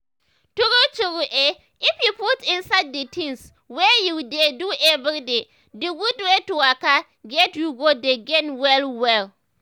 true true eh if you put inside d tins wey you dey do everyday d gud wey to waka get you go dey gain well well.